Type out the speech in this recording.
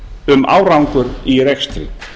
um árangur í rekstri